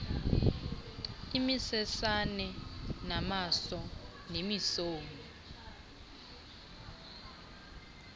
imisesane namaso nemisomi